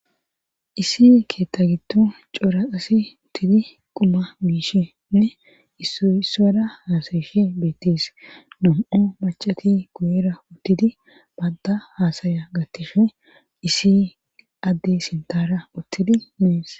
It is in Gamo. isi keetta giddon keeh cora asi uttidi quma gishinne issora haasayishi beettis nom7o macati guyera uttidi badda haasaya gattishne isi addey sintara uttidi mees